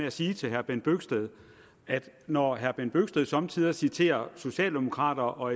at sige til herre bent bøgsted at når herre bent bøgsted somme tider citerer socialdemokrater og